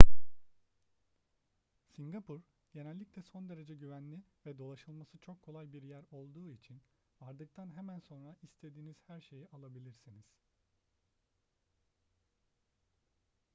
singapur genellikle son derece güvenli ve dolaşılması çok kolay bir yer olduğu için vardıktan hemen sonra istediğiniz her şeyi alabilirsiniz